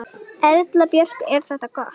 Erla Björg: Er þetta gott?